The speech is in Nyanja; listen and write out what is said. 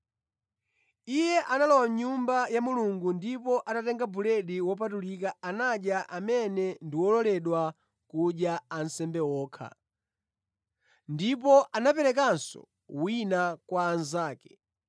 Iye analowa mʼnyumba ya Mulungu ndipo atatenga buledi wopatulika anadya amene ndi ololedwa kudya ansembe okha. Ndipo anaperekanso wina kwa anzake.”